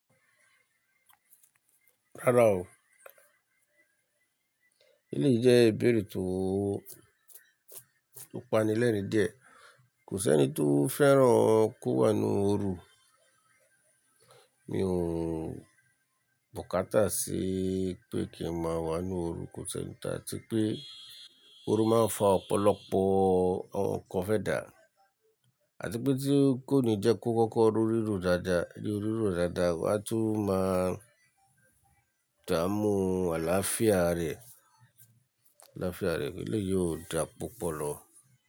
Rárá o, elèyí jẹ́ ìbéèrè tó, to pani lẹ́rìn-ín díẹ̀. Kò sí ẹni tó fẹ́ràn kó wà nínú ooru. Mi ò búkátà sí pé kí n má wà nínú ooru, kò sí ẹni tí a ti pé ooru máa ń fa ọ̀pọ̀lọpọ̀ àwọn nǹkan fẹ́ dà àti pé tí kò ní jẹ́ kó kọ́kọ́ rorí ro dáadáa, ri ori dáadáa wá tun máa dààmú àlàáfíà ara ẹ̀, àlàáfíà ara ẹ̀ eleyi o dà púpọ̀ lọ.